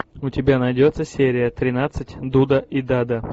у тебя найдется серия тринадцать дуда и дада